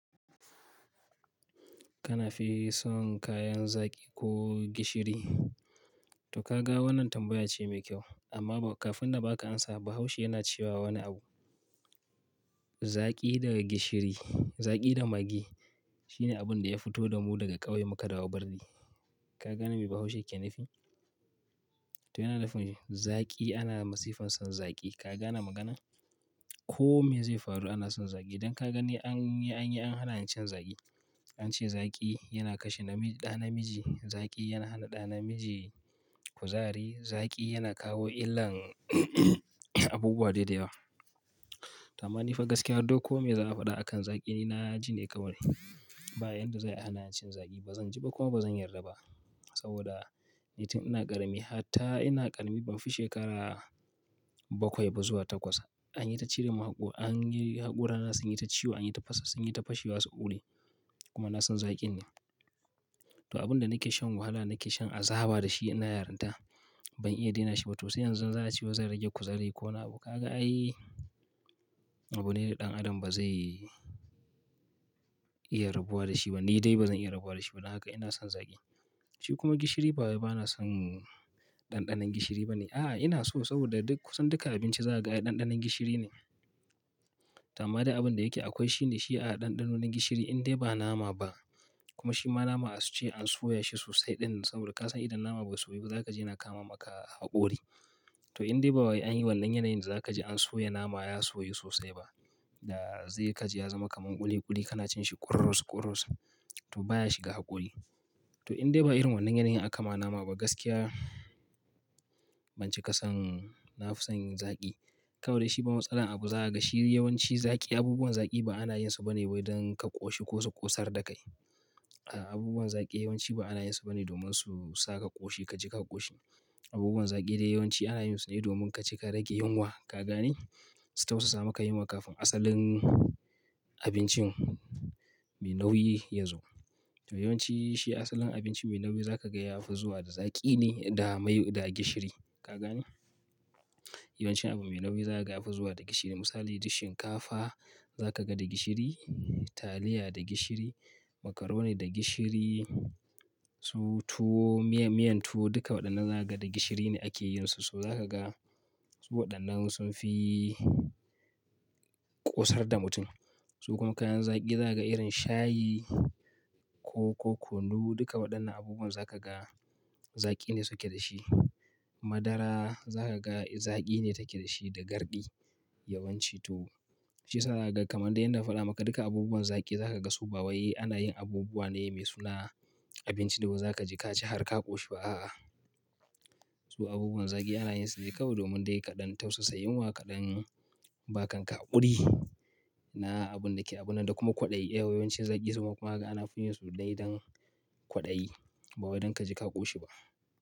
Kana fi son kayan zaki ko gishiri? To ka ga wannan tambaya ce mai kyau amma kafin na ba ka amsa bahaushe yana cewa wani abu. Zaki daga gishiri, zaki da magi shine abin da ya fito da mu daga ƙauye muka dawo birni. Ka gane me bahaushe yake nafi? To yana nufin zaki ana masifan son zaki. Ka gane magana? Ko me zai faru ana son zaki. Don ka gane an yi, an hana yin cin zaki. An ce zaki yana kashe namiji, zaki yana hana ɗa na miji kuzari, zaki yana kawo illan abubuwa daidai yawa. To ama ni fa gaskiyar duk me za a faɗa akan zaki ni na ji ne kawai. Ba inda zai hana cin zaki ba zan ji ba kuma ba zan yarda ba. Saboda littani na ƙarami hatta ina ƙarami ban fi shekara bakwai ba zuwa takwas. An yi ta cire mahukuri, an yi haƙora nasu sun yi ta ciwo, an yi ta fasa sun yi ta fashe wasu ƙuri. Kuma na son zakin ne. To abin da nake shan wahala, nake shan azaba da shi ina yarinta. Ban iya daina shi ba to sai yanzu zan ciwo zan rage kuzari ko na abubuwa. Ka ga ai abune ɗan adam ba zai iya rabuwa da shi ba. Ni dai ba zan iya rabuwa da shi ba. Don haka ina son zaki. Shi kuma gishiri ba bana son ɗanɗanon gishiri ba ne. A'a ina so saboda duk kusan duka abinci za ka ga ɗanɗanon gishiri ne. To ama dai abin da yake akwai shine shi a ɗanɗano na gishiri indai ba nama ba. Kuma shi ma nama asu ce an soya shi sosai ɗin saboda ka san idan nama bai soyu ba za ka je yana kama maka haƙori. To indai ba waye an yi wannan yanayin za ka je an soya nama ya soyu sosai ba. Da zai ka je ya zama kaman ƙuli ƙuli kana cin shi kurrus kurrus. To baya shiga haƙori. To indai ba irin wannan yanayin aka ma nama ba gaskiya ban cika son na fi son yin zaki. Kawai dai shi ma matsala abu za a ga shi. Yawanci zaki abubuwan zaki ba ana yin su ba ne don ka ƙoshi ko su ƙosar da kai. A'a abubuwan zaki yawanci ba ana yin su ba ne domin su sa ka ƙoshi ka ji ka ƙoshi. Abubuwan zaki dai yawanci ana yin su ne domin ka ci ka rage yunwa. Ka gane? Su tausasa maka yunwa kafin asalin abincin mai nauyi yazo. To yawanci shi asalin abinci mai nauyi za ka ga ya fi zuwa da zaki ne da mai da gishiri. Ka gane? Yawanci abu mai nauyi za ka ga ya fi zuwa da gishiri. Misali, duk shinkafa za ka ga da gishiri, taliya da gishiri, macaroni da gishiri, su tuwo, miyan tuwo duka waɗannan za ka ga da gishiri ne ake yin su. Su za ka ga su waɗannan sun fi ƙosar da mutum. Su kuma kayan zaki za ka ga irin shayi, ko kunu duka waɗannan abubuwan za ka ga zaki ne suke da shi. Madara za ka ga zaki ne take da shi da garɗi yawanci tuwo. Shi sa za ka ga kamar dai inda aka faɗa maka duka abubuwan zaki za ka ga su ba waye ana yin abubuwa ne mai suna abinci da ba za ka ji ka ci har ka ƙoshi ba a'a. Su abubuwan zaki ana yin su ne kawai domin dai kaɗan tausasa yunwa kaɗan baka ƙaƙuri na abun da ke abun nan da kuma kwaɗayi. Yawancin zaki suna kuma ana fin yin su dai don kwaɗayi ba don ka ji ka ƙoshi ba.